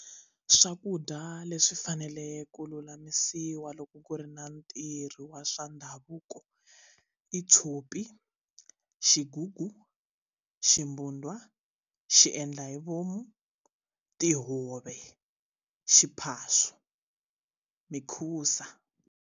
Swakudya leswi faneleke ku lulamisiwa loko ku ri na ntirho wa swa ndhavuko i tshopi xigugu ximbudwa xiendlahivomu tihove xiphaswa mikhusa.